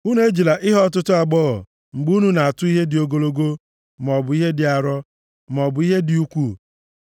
“ ‘Unu ejila ihe ọtụtụ aghụghọ mgbe unu na-atụ ihe dị ogologo, maọbụ ihe dị arọ, maọbụ ihe dị ukwuu,